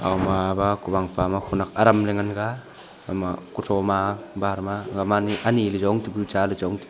ama ba kuwan pa ma khonak aram ngan ga kutho ma bar ma ani le jong tepu cha le jong tepu.